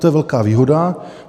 To je velká výhoda.